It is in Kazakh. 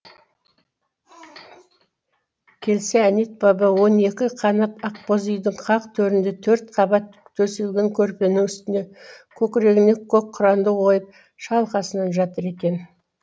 келсе әнет баба он екі қанат ақбоз үйдің қақ төрінде төрт қабат төселген көрпенің үстіне көкірегіне көк құранды қойып шалқасынан жатыр екен